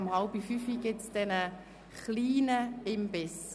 Um 16.30 Uhr gibt es einen kleinen Imbiss.